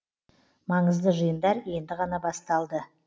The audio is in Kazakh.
маңызды жиындар енді ғана басталды